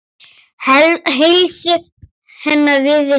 Heilsu hennar virðist hraka.